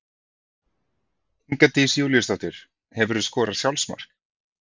Inga Dís Júlíusdóttir Hefurðu skorað sjálfsmark?